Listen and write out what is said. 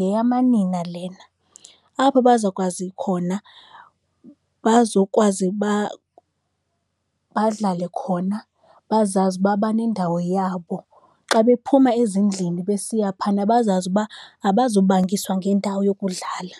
yeyamanina lena, apho bazakwazi khona bazokwazi uba badlale khona, bazazi uba banendawo yabo. Xa bephuma ezindlini besiya phayana bazazi uba abazobangiswa ngendawo yokudlala.